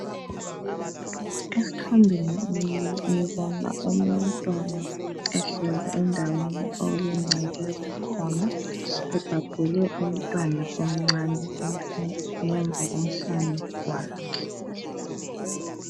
Esithombeni ngibona omunye umntwana ehlezi endaweni okulengcekeza khona, ebhabhule umntwana omncane ngemva komhlane wakhe.